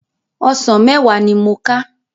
Òsán mèwá ni mó ká